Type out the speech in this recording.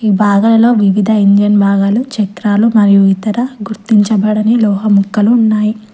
భాగయిలో వివిధ ఇంజన్ భాగాలు చక్రాలు మరియు ఇతర గుర్తించబడని లోహం ముక్కలు ఉన్నాయి.